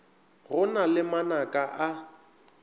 go na le manaka a